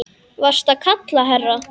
Varstu að kalla, herra?